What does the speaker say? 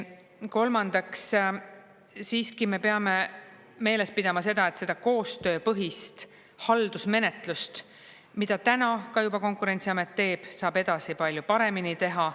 Kolmandaks, siiski me peame meeles pidama seda, et seda koostööpõhist haldusmenetlust, mida täna ka juba Konkurentsiamet teeb, saab edasi palju paremini teha.